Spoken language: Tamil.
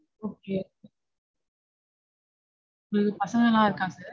Okay. ஐயோ பசங்கலாம் இருக்காங்க